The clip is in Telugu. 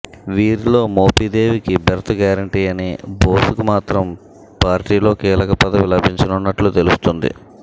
వీరిలో మోపిదేవికి బెర్త్ గ్యారెంటీ అని బోస్ కు మాత్రం పార్టీలో కీలకపదవి లభించనున్నట్లు తెలుస్తుంది